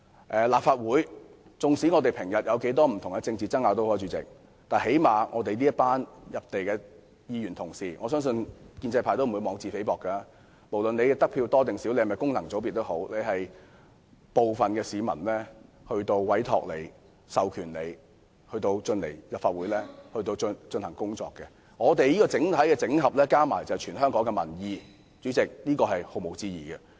不管立法會議員平日有多少政治爭拗，我們這群議員同事——我相信建制派也不會妄自菲薄，因為議員無論得票多少或是否來自功能界別，最低限度都是由部分市民授權進入立法會工作——整合起來便是全香港的民意，這是毋庸置疑的。